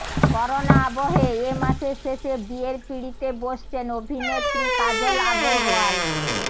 corona আবহে এ মাসের শেষে বিয়ের পিঁড়িতে বসছেন অভিনেত্রী কাজল আগরওয়াল